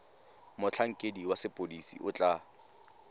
motlhankedi wa sepodisi o tla